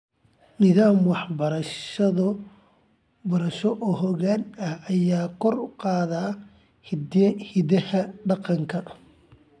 Nidaam waxbarasho oo xooggan ayaa kor u qaadaya hiddaha dhaqanka .